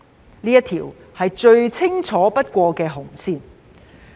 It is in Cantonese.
這是一條最清楚不過的紅線。